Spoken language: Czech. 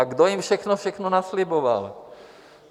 A kdo jim všechno, všechno nasliboval?